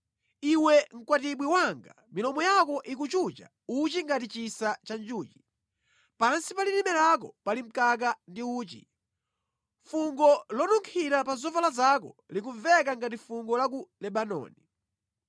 Iwe mkwatibwi wanga, milomo yako ikuchucha uchi ngati chisa cha njuchi; pansi pa lilime lako pali mkaka ndi uchi. Fungo lonunkhira la zovala zako likumveka ngati fungo la ku Lebanoni.